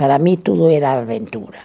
Para mim, tudo era aventura.